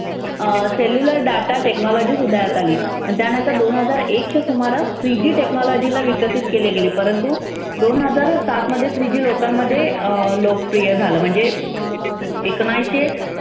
अं cellular data technology उदयास आली. आणि त्यानंतर दोन हजार एकच्या सुमारास three G technology ला विकसित केले गेले परंतु दोन हजार सातमध्ये three G लोकांमध्ये ते अं लोकप्रिय झालं म्हणजे एकोणीसशे